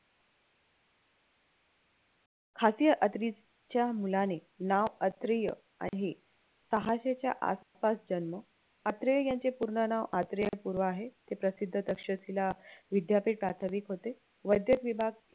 च्या मुलाने नाव अत्रेय आहे सहाशेच्या आसपास जन्म अत्रेय यांचे पूर्ण नाव अत्रेय गुरु आहे ते प्रसिद्ध तक्षशिला विद्यापीठात प्राध्यापक होते वैद्य विभाग